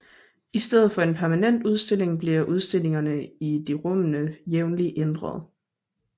I stedet for en permanent udstilling bliver udstillingerne i de rummene jævnligt ændret